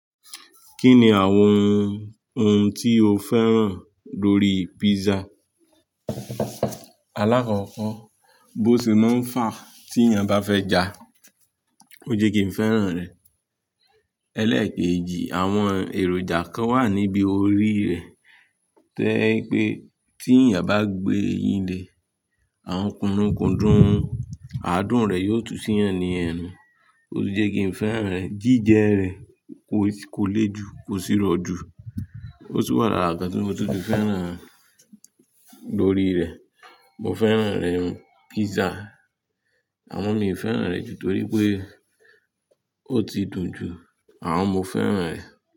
Kí ni àwọn ohun tí o fẹ́ràn lórí pizza? Alákọ̀ọ́kọ́, bó se máa ń fà tí èèyàn bá fẹ́ ja, ó jẹ́ kí n fẹ́ràn rẹ̀. Ẹlẹ́ẹ̀kejì, àwọn èròjà kan wà níbi orí rẹ̀ to ẹ́ pé tí èèyàn bá gbé e yín lé, àwọn kúrunkùndún, adùn rẹ̀ yóò tú sí ẹni ẹnu, ó sì jẹ́ kí n fẹ́ràn rẹ̀. Jíjẹ rẹ̀ kò lè ju, kò sì rọ jù, ó sì wà lára ǹkan tí mo tutù fẹ́ràn lórí rẹ̀. Mo fẹ́ràn rẹ̀, pizza, àmọ́ mi ò fẹ́ràn rẹ̀ ju torí pé ó ti dùn ju àwọn mo fẹ́ràn rẹ̀